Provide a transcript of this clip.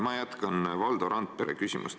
Ma jätkan Valdo Randpere küsimust.